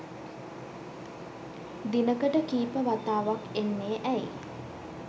දිනකට කීප වතාවක් එන්නේ ඇයි?